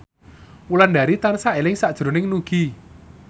Wulandari tansah eling sakjroning Nugie